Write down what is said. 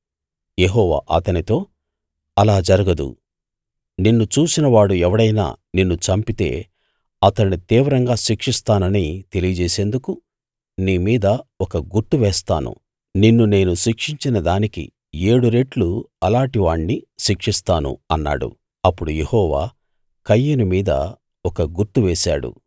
యెహోవా అతనితో అలా జరగదు నిన్ను చూసిన వాడు ఎవడైనా నిన్ను చంపితే అతణ్ణి తీవ్రంగా శిక్షిస్తానని తెలియజేసేందుకు నీ మీద ఒక గుర్తు వేస్తాను నిన్ను నేను శిక్షించిన దానికి ఏడు రెట్లు అలాటి వాణ్ణి శిక్షిస్తాను అన్నాడు అప్పుడు యెహోవా కయీను మీద ఒక గుర్తు వేశాడు